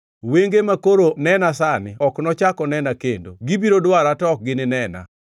Wenge makoro nena sani ok nochak onena kendo, gibiro dwara to ok gininena.